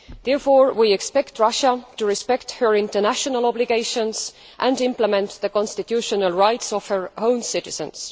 Therefore, we expect Russia to respect her international obligations and implement the constitutional rights of her own citizens.